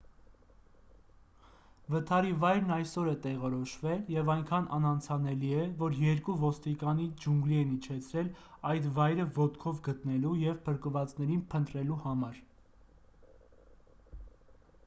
վթարի վայրն այսօր է տեղորոշվել և այնքան անանցանելի է որ երկու ոստիկանի ջունգլի են իջեցրել այդ վայրը ոտքով գտնելու և փրկվածներին փնտրելու համար